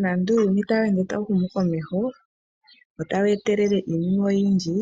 Nando uuyuni tawu ende tawu humu komeho wo tawu etelele iinima oyindji,